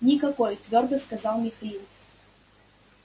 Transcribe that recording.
никакой твёрдо сказал михаил